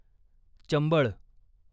Chambal